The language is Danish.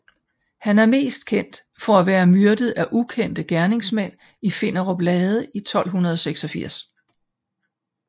Han er mest kendt for at være myrdet af ukendte gerningsmænd i Finderup Lade i 1286